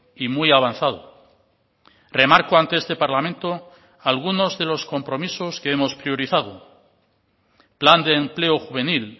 y muy avanzado remarco ante este parlamento algunos de los compromisos que hemos priorizado plan de empleo juvenil